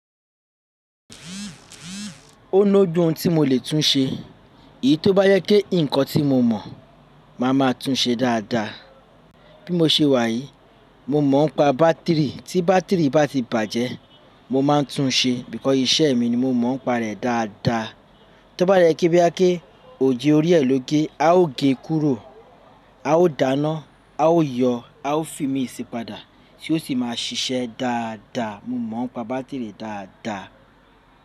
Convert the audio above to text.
Ó lóju oun ti mo lè tun ṣe. Iyí tó bá jẹ́ pe nǹkan tí mo mọ̀ máa ma tun ṣe dáadáa. Bí mo ṣe wà yìí, mo mọ̀ ń pa bátìrì, tí bátìrì bá ti bàjẹ́ mo ma ń tun ṣe, because, iṣẹ́ mi ni mo mọ̀ ń pa rẹ̀ dáadáa. Òje orí ẹ ló gé, a ó gé kúrò, a ó dáná, a ó yọ, a ó fi mí sì padà tí ó sì máa ṣiṣẹ́ dáadáa. Mo mọ̀ ń pa bátìrì dáadáa.